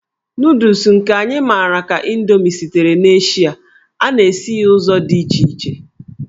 Nụụdụls nke anyị mara ka Indomi sitere n'Eshịa, a na-esi ya n'ụzọ dị iche iche.